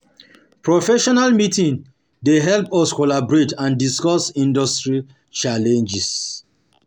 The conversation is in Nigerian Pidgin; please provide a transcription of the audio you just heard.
Professional meeting dey help us collaborate and discuss industry challenges.